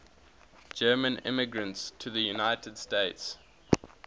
german immigrants to the united states